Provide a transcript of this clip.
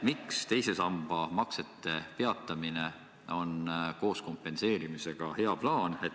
Miks teise samba maksete peatamine koos kompenseerimisega on hea plaan?